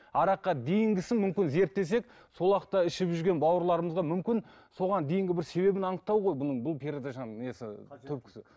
араққа дейінгісін мүмкін зерттесек сол уақытта ішіп жүрген бауырларымызға мүмкін соған дейінгі бір себебін анықтау ғой бұның бұл передачаның несі түпкісі